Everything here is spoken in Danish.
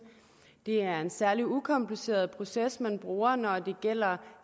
det er en særlig ukompliceret proces man bruger når det gælder